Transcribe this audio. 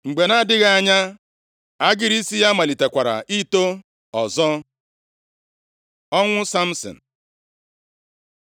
Mgbe na-adịghị anya, agịrị isi ya malitekwara ito ọzọ. Ọnwụ Samsin